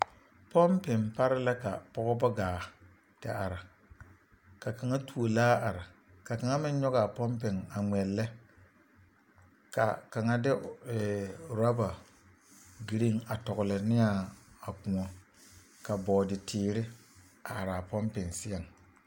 Pɔmpeŋ pare la ka pɔgeba gaa te are ka kaŋa tuo laa are ka kaŋa meŋ nyɔge a pɔmpeŋ a ŋmeɛlɛ ka kaŋa de ee orɔba girin a tɔgle ne a a koɔ ka bɔɔde teere a are a pɔmpeŋ seɛŋ.